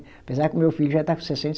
Apesar que o meu filho já está com sessen